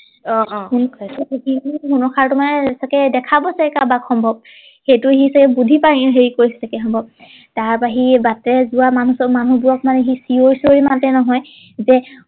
অ অ সোণৰ খাৰুটো মানে চাগে দেখা পাইছে কাৰোবাক সম্ভৱ সেইটো সি চাগে বুদ্ধি পাঙিছে সম্ভৱ তাৰ পৰা সি বাটেৰে যোৱা মানুহ মানুহ বোৰক মানে সি চিঞৰি চিঞৰি মাতে নহয় যে